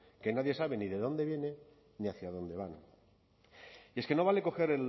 que nadie sabe ni de dónde viene ni hacia dónde van y es que no vale coger